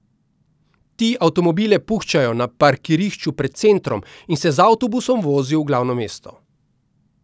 Ti avtomobile puščajo na parkirišču pred centrom in se z avtobusom vozijo v glavno mesto.